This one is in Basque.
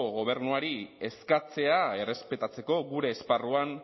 gobernuari eskatzea errespetatzeko gure esparruan